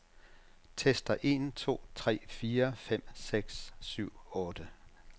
Tester en to tre fire fem seks syv otte.